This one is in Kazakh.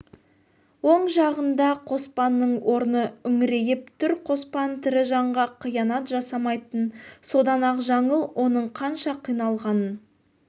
оң жағында қоспанның орны үңірейіп түр қоспан тірі жанға қиянат жасамайтын содан-ақ жаңыл оның қанша қиналғанын